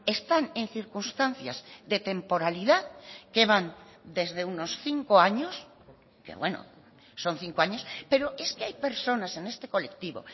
están en circunstancias de temporalidad que van desde unos cinco años que bueno son cinco años pero es que hay personas en este colectivo